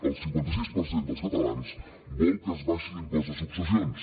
el cinquanta sis per cent dels catalans vol que s’abaixi l’impost de successions